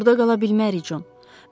Burda qala bilmərik, Con.